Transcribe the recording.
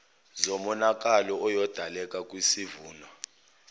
zomonakalo oyodaleka kwisivuno